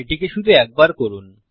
এটিকে শুধু একবার করুন